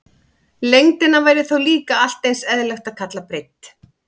Lengdina væri þá líka allt eins eðlilegt að kalla breidd.